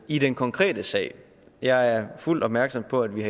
i den konkrete sag jeg er fuldt opmærksom på at vi